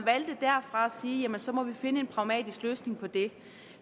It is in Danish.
sige at man så måtte finde en pragmatisk løsning på det